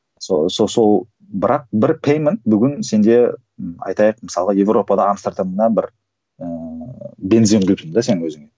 сол бірақ бір пейменд бүгін сенде айтайық мысалға европада амстердамнан бір ііі бензин құйыпсың да сен өзіңе